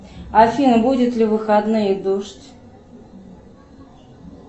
афина будет ли в выходные дождь